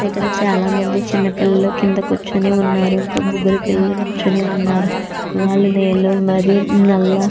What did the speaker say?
ఇక్కడ చాలా మంది చిన్న పిల్లలు కింద కూర్చుని ఉన్నారు ఇంకో ముగ్గురు పిల్లలు నించుని ఉన్నారు వాళ్ళు నీలం మరియు నల్ల --